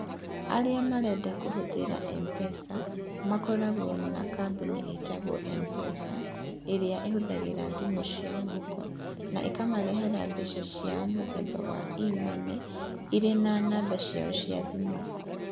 Arĩa marenda kũhũthĩra M-Pesa makoragwo marĩ na kambuni ĩĩtagwo M-Pesa ĩrĩa ĩhũthagĩra thimũ cia moko, na ĩkamarehera mbeca cia mũthemba wa e-money irĩ na namba yao ya thimũ.